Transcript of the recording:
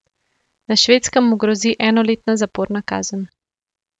Na Švedskem mu grozi enoletna zaporna kazen.